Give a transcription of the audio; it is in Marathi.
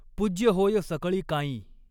पूज्य होय सकळिकांई।